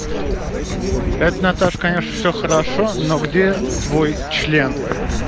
это наташ конечно всё хорошо но где твой член